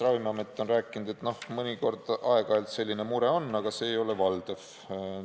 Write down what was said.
Ravimiamet on rääkinud, et mõnikord, aeg-ajalt selline mure on, aga see ei ole valdav.